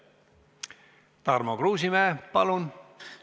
Tarmo Kruusimäe, palun!